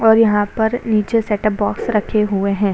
और यहाँ पर नीचे सेट ऑफ़ बॉक्स रखे हुए है।